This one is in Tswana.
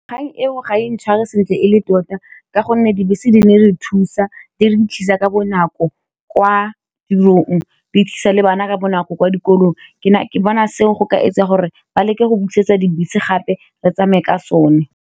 Kgang eo ga e ntshware sentle e le tota ka gonne dibese di ne re thusa di re thusa ka bonako kwa tirong di thusa le bana ka bonako kwa dikolong ke bona seng go ka etsa gore ba leke go busetsa dibese gape re tsamaye ka sone.